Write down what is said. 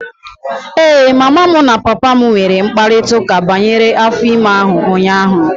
Ee, mama m na papa m nwere mkparịta ụka banyere afọ ime ahụ ụnyaahụ.